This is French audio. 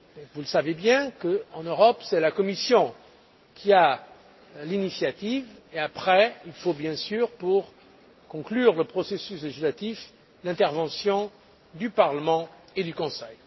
Vous le savez, en Europe c'est la Commission qui a l'initiative et après il faut, bien sûr, pour conclure le processus législatif, l'intervention du Parlement et du Conseil.